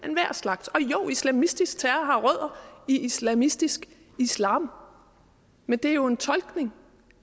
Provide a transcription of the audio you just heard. enhver slags og jo islamistisk terror har rødder i islamistisk islam men det er jo en tolkning